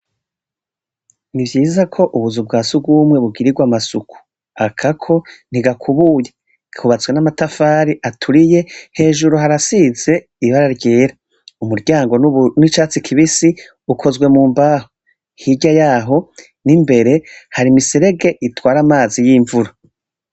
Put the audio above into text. Ni vyiza ko ubuzu bwa siugwumwe bugirirwe amasuku akako ntigakubuye ikubatswe n'amatafari aturiye hejuru harasize ibara ryera umuryango n'icatsi kibisi ukozwe mu mbaho hirya yaho n'imbere hari imiserege itwara amazi y'imvuro.